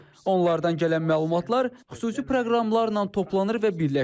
Onlardan gələn məlumatlar xüsusi proqramlarla toplanır və birləşdirilir.